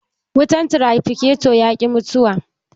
Wutan tirafikaton ya ki mutuwa